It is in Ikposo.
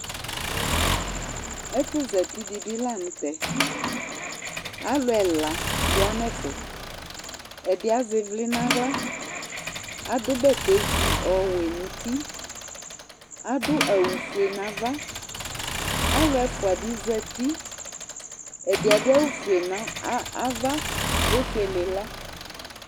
Ɛfu za uti di bi la nu tɛ Alu ɛla ya nu ɛfɛ Ɛdi azɛ ivli nu aɣla adu bɛtɛ zi ɔwɛ nu uti adu awu fue nu ava alu ɛfua bi za uti ɛdi adu awu fue nu ava efuele ila